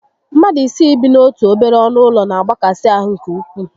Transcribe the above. Mmadụ isii ị bi n'otu obere ọnụ ụlọ na agbakasi ahụ nke ukwuu